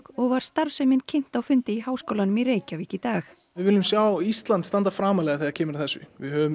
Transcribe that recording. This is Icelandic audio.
og var starfsemin kynnt á fundi í Háskólanum í Reykjavík í dag við viljum sjá Ísland standa framarlega þegar kemur að þessu við höfum